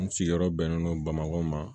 N sigiyɔrɔ bɛnnen don bamakɔ ma